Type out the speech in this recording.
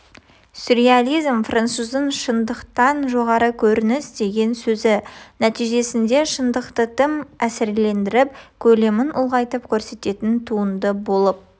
сюреализм француздың шындықтан жоғары көрініс деген сөзі нәтижесінде шындықты тым әсірелендіріп көлемін ұлғайтып көрсететін туынды болып